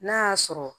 N'a y'a sɔrɔ